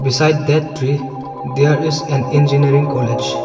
Beside that tree there is an engineering college